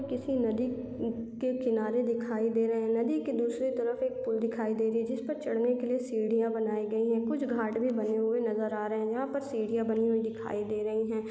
किसी नदी क के किनारे दिखाई दे रहे है नदी के दूसरे तरफ एक पूल दिखाए दे रही है जिस पर चढ़ने के लिये सीढ़ियाँ बनाई गई है कुछ घाट भी बने हुए नज़र आ रहे है जहाँ पर सीढ़ियाँ बनी हुई दिखाई दे रही है।